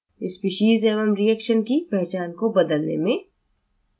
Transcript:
species एवं reaction की पहचान को बदलने में